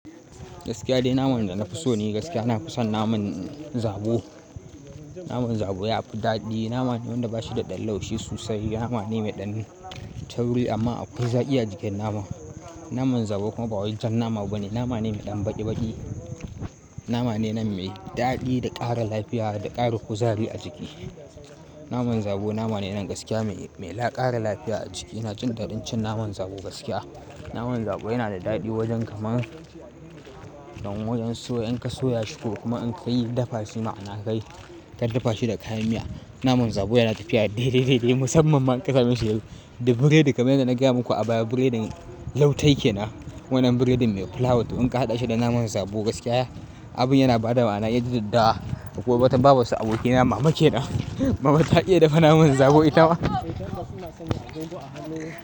Gaskiya dai naman da na fi so ne ni, gaskiya na fi son naman zabo. Naman zabo ya fi daɗi. Nama ne wanda ba shi da ɗan laushi sosai. Nama ne mai ɗan tauri amma akwai zaki a jikin naman. Naman zabo kuma ba wai jan nama bane. Nama ne mai ɗan baki baki. Nama ne nan mai daɗi da ƙara lafiya da ƙara kuzari a jiki. Naman zabo nama ne nan gaskiya mai, mai ƙara lafiya a jiki. Ina jin ɗadin cin naman zabo gaskiya. Naman zabo yana da daɗi wajen kamar, kamar wajen soya. In ka soya shi ko kuma in ka yi dafa shi ma'ana kai ka dafa shi da kayan miya. Naman zabo yana tafiya dai, dai, dai musamman ma in ka sameshi da buredi. Kamar yadda na gaya muku a baya, buredin lautai ke nan. Wannan buredin mai fulawa to in ka haɗa shi da naman zabo gaskiya abin yana ba da ma'ana. Ya jidda. Akwai wata babar su abokina mama ke nan. Mama ta iya dafa naman zabo ita ma.